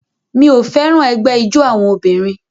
Mi ò fẹ́ràn ẹgbẹ́ ijó àwọn obìnrin